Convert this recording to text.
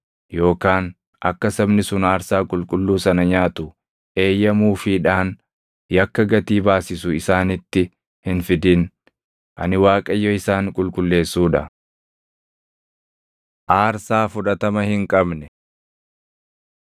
yookaan akka sabni sun aarsaa qulqulluu sana nyaatu eeyyamuufiidhaan yakka gatii baasisu isaanitti hin fidin. Ani Waaqayyo isaan qulqulleessuu dha.’ ” Aarsaa Fudhatama Hin Qabne